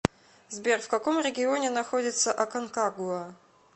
сбер в каком регионе находится аконкагуа